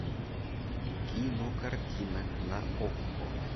кинокартина на окко